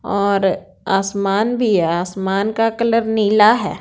और आसमान भी है आसमान का कलर नीला है।